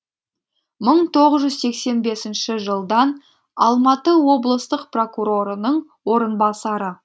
мың тоғыз жүз сексен бесінші жылдан алматы облыстық прокурорының орынбасары